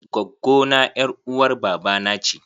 Gwaggo na ƴar uwar baba na ce.